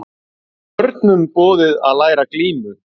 Börnum boðið að læra glímu